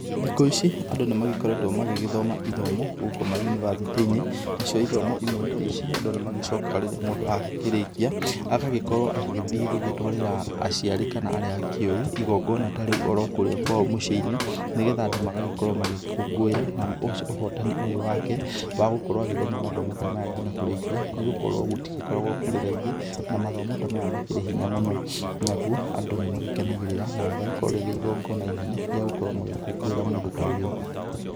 Thikũ ici andũ nĩmagĩkoretwe magĩgĩthoma ithomo gũkũ mayunibasitĩĩnĩ, nacio ithomo imwe na ici andũ nĩmagĩcokaga rĩrĩa mũndũ agĩkĩrĩkia, agagĩkorwo agĩgĩthiĩ gũgĩtwarĩra aciari kana arĩa akĩũĩ igongona ta rĩũ kũrĩa kwao mũciĩnĩ nĩgetha andũ magagĩkorwo magĩkũngũĩra na ũhotani ũcio wake wagũkorwo agĩthoma mathomo ta maya nginya kũrĩkia, nĩgũkorwo gũtirĩ gũkoragwo kũrĩ raithi na mathomo ta maya makĩrĩ hinya mũno naũwo andũ nĩmakenagĩrĩra na makagĩa igongona inene yagũkorwo magĩkũngũĩra mũndũ ta ũyũ.